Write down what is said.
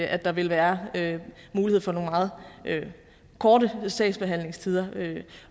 at der vil være mulighed for nogle meget korte sagsbehandlingstider